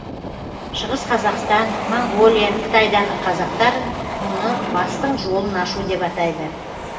шығыс қазақстан моңғолия қытайдағы қазақтар мұны бастың жолын ашу деп атайды